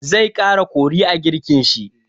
Zai ƙara kori a girkin shi.